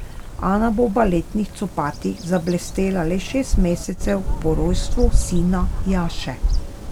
Ana bo v baletnih copatih zablestela le šest mesecev po rojstvu sina Jaše.